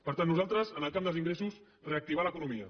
per tant nosaltres en el camp dels ingressos reactivar l’economia